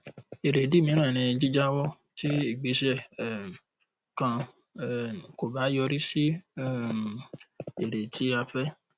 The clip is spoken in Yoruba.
èrèdí míìrán ni jíjàwọ tí igbésẹ um kàn um kò bá yọrí sí um èrè tí a fẹ